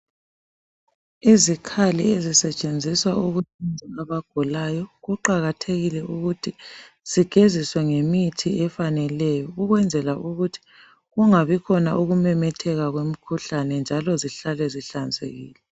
Izikhali ezisetshenziswa ukuhlaba abagulayo kuqakathekile ukuthi zigeziswe ngemithi efaneleyo ukwenzela ukuthi kungabi khona ukumemetheka kwemikhuhlane njalo zihlale zihlanzekile.